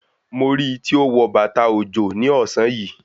Mo rí i tí ó wọ bàtà òjò ní ọ̀sán yìí.